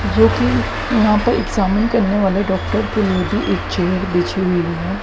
जोकि यहां पर एग्जामिन करने वाले डॉक्टर के लिए भी एक चेयर बिछी हुई है।